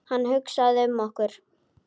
Hann hugsaði um okkur.